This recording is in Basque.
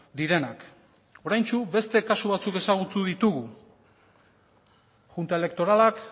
direnak oraintsu beste kasu batzuk ezagutu ditugu junta elektoralak